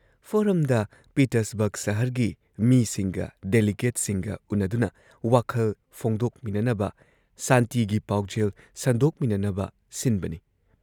ꯐꯣꯔꯝꯗ ꯄꯤꯇꯔꯁꯕꯔꯒ ꯁꯍꯔꯒꯤ ꯃꯤꯁꯤꯡꯒ ꯗꯦꯂꯤꯒꯦꯠꯁꯤꯡꯒ ꯎꯟꯅꯗꯨꯅ ꯋꯥꯈꯜ ꯐꯣꯡꯗꯣꯛꯃꯤꯅꯅꯕ ꯁꯥꯟꯇꯤꯒꯤ ꯄꯥꯎꯖꯦꯜ ꯁꯟꯗꯣꯛꯃꯤꯅꯅꯕ ꯁꯤꯟꯕꯅꯤ ꯫